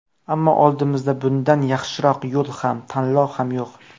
Ammo oldimizda bundan yaxshiroq yo‘l ham, tanlov ham yo‘q.